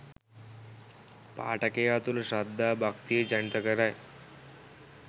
පාඨකයා තුළ ශ්‍රද්ධා භක්තිය ජනිත කරයි